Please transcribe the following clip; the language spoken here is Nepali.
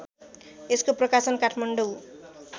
यसको प्रकाशन काठमाडौँ